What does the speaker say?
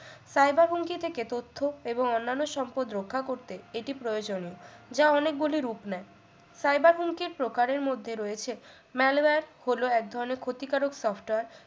cyber হুমকি থেকে তথ্য এবং অন্যান্য সম্পদ রক্ষা করতে এটি প্রয়োজনীয় যা অনেকগুলি রূপ নেয় cyber হুমকির প্রকারের মধ্যে রয়েছে malware হলো এক ধরনের ক্ষতিকারক software